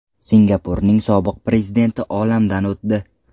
Singapurning sobiq prezidenti olamdan o‘tdi.